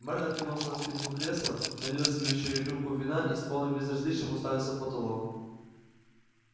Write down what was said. мэр откинулся на спинку кресла налил себе ещё рюмку вина и с полным безразличием уставился в потолок